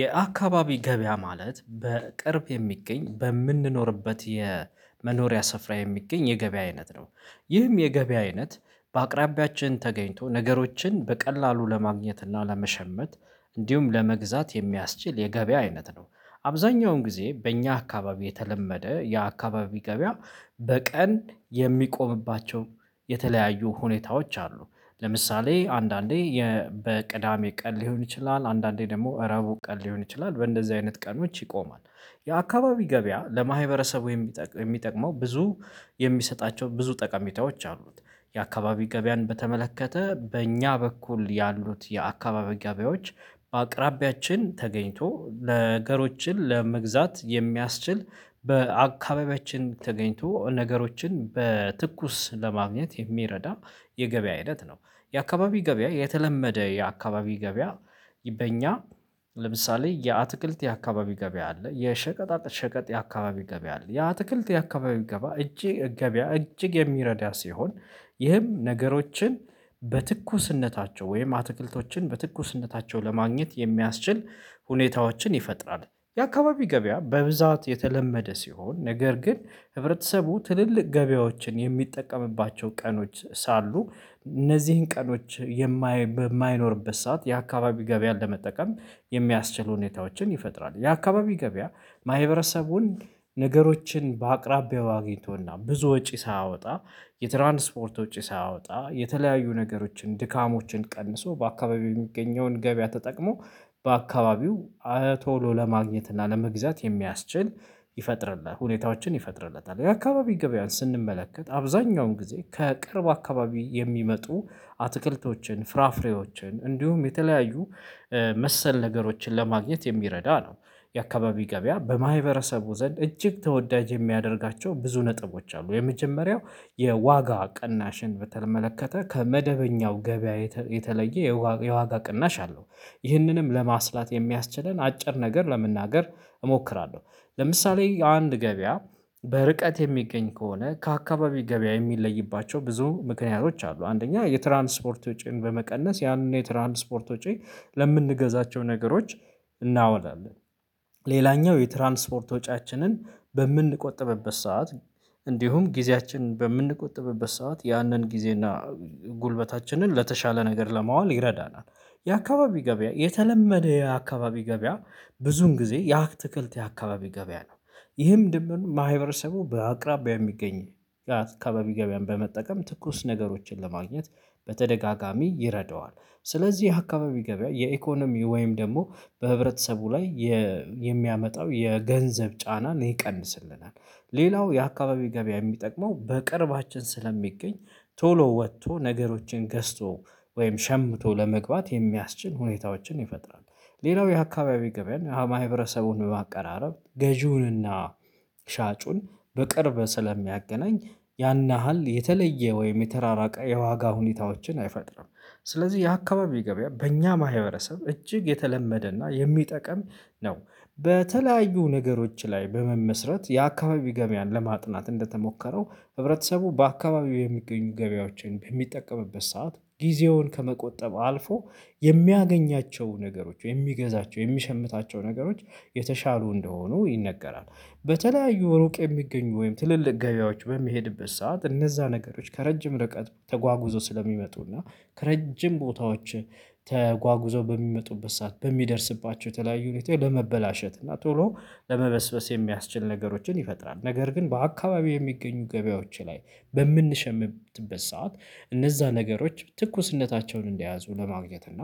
የአካባቢ ገበያ ማለት በቅርብ የሚገኝ በምንኖርበት የመኖሪያ ስፍራ የሚገኝ የገበያ አይነት ነው። ይህም የገበያ አይነት በአቅራቢያችን ተገኝቶ ነገሮችን በቀላሉ ለማግኘት እና ለመሸመት እንዲሁም ለመግዛት የሚያስችል የገበያ አይነት ነው። አብዛኛውን ጊዜ በእኛ አካባቢ የተለመደ የአካባቢ ገበያ በቀን የሚቆምባቸው የተለያዩ ሁኔታዎች አሉ። ለምሳሌ አንዳንዴ በቅዳሜ ቀን ሊሆን ይችላል አንዳንዴ ደግሞ እረቡ ቀን ሊሆን ይችላል በእንደዚህ አይነት ቀኖች ይቆማል። የአካባቢ ገበያ ለማህበረሰቡ የሚጠቅመው ብዙ የሚሰጣቸው ብዙ ጠቀሜታዎች አሉት። የአካባቢ ገበያን በተመለከተ በእኛ በኩል ያሉት የአካባቢ ገቢያዎች በአቅራቢያችን ተገኝቶ ነገሮችን ለመግዛት የሚያስችል በአካባቢያችን ተገኝቶ ነገሮችን በትኩስ ለማግኘት የሚረዳ የገበያ ሂደት ነው። የአካባቢ ገበያ የተለመደ የአካባቢ ገበያ በእኛ ለምሳሌ የአትክልት የአካባቢ ገበያ አለ የሸቀጣ ሸቀጥ የአካባቢ ገበያ አለ የአትክልት የአካባቢ ገባ እጅግ ገበያ እጅግ የሚረዳ ሲሆን ይህም ነገሮችን በትኩስነታቸው ወይም አትክልቶችን በትኩስነታቸው ለማግኘት የሚያስችል ሁኔታዎችን ይፈጥራል። የአካባቢ ገበያ በብዛት የተለመደ ሲሆን ነገር ግን ህብረተሰቡ ትልልቅ ገበያዎችን የሚጠቀምባቸው ቀኖች ሳሉ እነዚህን ቀኖች በማይኖርበት ሰዓት የአካባቢ ገበያን ለመጠቀም የሚያስችሉ ሁኔታዎችን ይፈጥራል። የአካባቢ ገበያ ማህበረሰቡን ነገሮችን በአቅራቢያው አግኝቶና ብዙ ወጪ ሳያወጣ የትራንስፖርት ወጪ ሳያወጣ የተለያዩ ነገሮችን ድካሞችን ቀንሶ በአካባቢው የሚገኘውን ገበያ ተጠቅሞ በአካባቢው ቶሎ ለማግኘት እና ለመግዛት የሚያስችል ይፈጥርልናል ሁኔታዎችን ይፈጥርለታል። የአካባቢ ገበያን ስንመለከት አብዛኛውን ጊዜ ከቅርብ አካባቢ የሚመጡ አትክልቶችን ፍራፍሬዎችን እንዲሁም የተለያዩ መሰል ነገሮችን ለማግኘት የሚረዳ ነው። የአካባቢ ገበያ በማህበረሰቡ ዘንድ እጅግ ተወዳጅ የሚያደርጋቸው ብዙ ነጥቦች አሉ የመጀመሪያው የዋጋ ቅናሽን በተመለከተ ከመደበኛው ገበያ የተለየ የዋጋ ቅናሽ አለው። ይህንንም ለማስላት የሚያስችለን አጭር ነገር ለመናገር እሞክራለሁ ለምሳሌ አንድ ገበያ በርቀት የሚገኝ ከሆነ ከአካባቢ ገበያ የሚለይባቸው ብዙ ምክንያቶች አሉ አንደኛ የትራንስፖርት ወጪን በመቀነስ ያንን የትራንስፖርት ወጪ ለምንገዛቸው ነገሮች እናውላለን። ሌላኛው የትራንስፖርት ወጪያችንን በምንቆጥበበት ሰዓት እንዲሁም ጊዜያችን በምንቆጥብበት ሰዓት ያንን ጊዜና ጉልበታችንን ለተሻለ ነገር ለማዋል ይረዳናል። የአካባቢ ገበያ የተለመደ የአካባቢ ገበያ ብዙን ጊዜ የአክትክልት የአካባቢ ገበያ ነው። ይህም ድምር ማህበረሰቡ በአቅራቢያ የሚገኝ ጋር የአካባቢ ገበያን በመጠቀም ትኩስ ነገሮችን ለማግኘት በተደጋጋሚ ይረዳዋል ስለዚህ አካባቢ ገበያ የኢኮኖሚ ወይም ደግሞ በህብረተሰቡ ላይ የ የሚያመጣው የገንዘብ ጫናን ይቀንስልናል። ሌላው የአካባቢ ገበያ የሚጠቅመው በቅርባችን ስለሚገኝ ቶሎ ወቶ ነገሮችን ገዝቶ ወይም ሸምቶ ለመግባት የሚያስችል ሁኔታዎችን ይፈጥራል። ሌላው የአካባቢ ገበያን ማህበረሰቡን በማቀራረብ ገዢውንና ሻጩን በቅርብ ስለሚያገናኝ ያን ያህል የተለየ ወይም የተራራቀ የዋጋ ሁኔታዎችን አይፈጥርም። ስለዚህ የአካባቢው ገበያ በእኛ ማህበረሰብ እጅግ የተለመደና የሚጠቀም ነው። በተለያዩ ነገሮች ላይ በመመስረት የአካባቢ ገበያን ለማጥናት እንደተሞከረው ህብረተሰቡ በአካባቢው የሚገኙ ገበያዎችን በሚጠቀምበት ሰዓት ጊዜውን ከመቆጠብ አልፎ የሚያገኛቸው ነገሮች የሚገዛቸው የሚሸምታቸው ነገሮች የተሻሉ እንደሆኑ ይነገራል። በተለያዩ ሩቅ የሚገኙ ወይም ትልልቅ ገበያዎች ወይም በሚሄድበት ሰዓት እነዛ ነገሮች ከረጅም ርቀት ተጓጉዘው ስለሚመጡ እና ከረጅም ቦታዎች ተጓጉዘው በሚመጡበት ሰዓት በሚደርስባቸው የተለያዩ ሁኔታ በመበላሸት እና ቶሎ ለመበስበስ የሚያስችል ነገሮችን ይፈጥራል። ነገር ግን በአካባቢው የሚገኙ ገበያዎች ላይ በምንሸምበት ሰዓት እነዛ ነገሮች ትኩስነታቸውን እንደያዙ ለማግኘት እና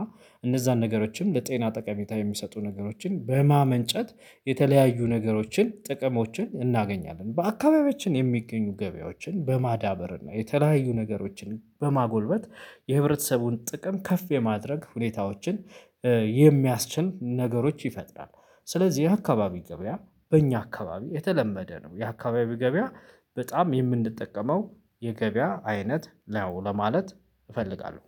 እነዛን ነገሮችም ለጤና ጠቀሜታ የሚሰጡ ነገሮችን በማመንጨት የተለያዩ ነገሮችን ጥቅሞችን እናገኛለን። በአካባቢዎችን የሚገኙ ገበያዎችን በማዳበር እና የተለያዩ ነገሮችን በማጎልበት የህብረተሰቡን ጥቅም ከፍ የማድረግ ሁኔታዎችን የሚያስችል ነገሮች ይፈጥራል። ስለዚህ የአካባቢ ገበያ በእኛ አካባቢ የተለመደ ነው። የአካባቢ ገበያ በጣም የምንጠቀመው የገበያ አይነት ነው ለማለት እፈልጋለሁ።